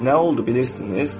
Nə oldu bilirsiz?